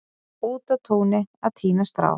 úti á túni að tína strá